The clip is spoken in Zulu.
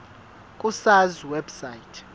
ku sars website